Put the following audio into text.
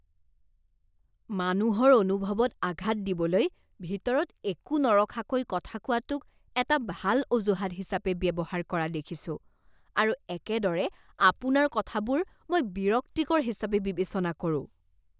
মানুহৰ অনুভৱত আঘাত দিবলৈ ভিতৰত একো নৰখাকৈ কথা কোৱাটোক এটা ভাল অজুহাত হিচাপে ব্যৱহাৰ কৰা দেখিছোঁ আৰু একেদৰে আপোনাৰ কথাবোৰ মই বিৰক্তিকৰ হিচাপে বিবেচনা কৰোঁ।